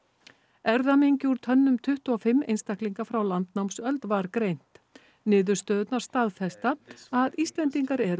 erfðamengi úr tönnum tuttugu og fimm einstaklinga frá landnámsöld var greint niðurstöðurnar staðfesta að Íslendingar eru